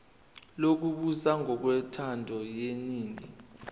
lokubusa ngokwentando yeningi